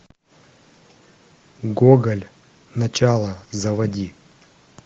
гоголь начало заводи